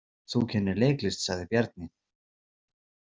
Þú kennir leiklist, sagði Bjarni.